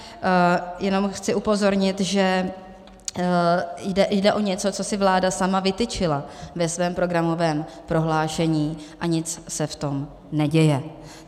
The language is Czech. Jenom chci upozornit, že jde o něco, co si vláda sama vytyčila ve svém programovém prohlášení, a nic se v tom neděje.